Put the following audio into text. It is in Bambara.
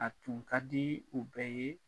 A tun ka di u bɛɛ ye